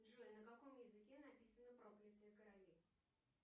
джой на каком языке написаны проклятые короли